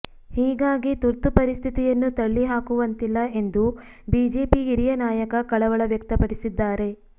ಹೀಗಾಗಿ ತುರ್ತು ಪರಿಸ್ಥಿತಿಯನ್ನು ತಳ್ಳಿಹಾಕುವಂತಿಲ್ಲ ಎಂದು ಬಿಜೆಪಿ ಹಿರಿಯ ನಾಯಕ ಕಳವಳ ವ್ಯಕ್ತಪಡಿಸಿದ್ದಾರೆ